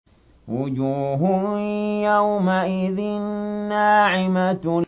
وُجُوهٌ يَوْمَئِذٍ نَّاعِمَةٌ